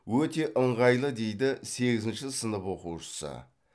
өте ыңғайлы дейді сегізінші сынып оқушысы